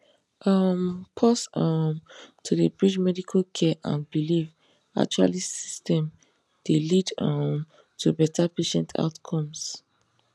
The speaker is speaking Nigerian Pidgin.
um pause um to dey bridge medical care and belief actually systems dey lead um to better patient outcomes